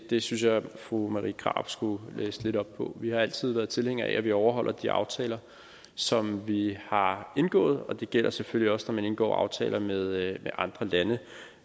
det synes jeg at fru marie krarup skulle læse lidt op på vi har altid været tilhængere af at vi overholder de aftaler som vi har indgået og det gælder selvfølgelig også når man indgår aftaler med andre lande